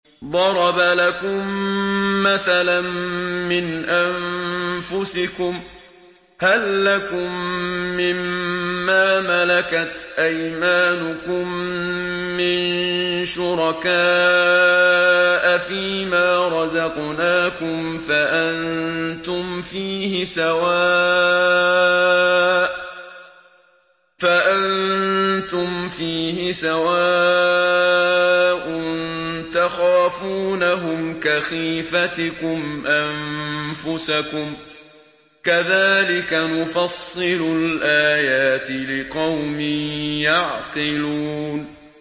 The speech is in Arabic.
ضَرَبَ لَكُم مَّثَلًا مِّنْ أَنفُسِكُمْ ۖ هَل لَّكُم مِّن مَّا مَلَكَتْ أَيْمَانُكُم مِّن شُرَكَاءَ فِي مَا رَزَقْنَاكُمْ فَأَنتُمْ فِيهِ سَوَاءٌ تَخَافُونَهُمْ كَخِيفَتِكُمْ أَنفُسَكُمْ ۚ كَذَٰلِكَ نُفَصِّلُ الْآيَاتِ لِقَوْمٍ يَعْقِلُونَ